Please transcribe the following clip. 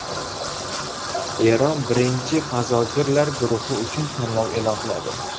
Eron birinchi fazogirlar guruhi uchun tanlov e’lon qiladi.